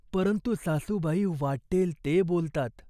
परंतु सासूबाई वाटेल ते बोलतात.